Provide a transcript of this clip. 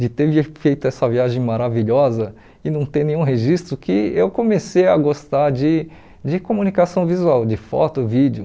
de ter vi feito essa viagem maravilhosa e não ter nenhum registro, que eu comecei a gostar de de comunicação visual, de foto, vídeo.